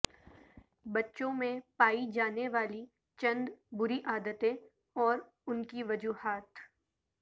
بچوں میں پائی جانے والی چند بری عادتیں اور ان کی وجوہات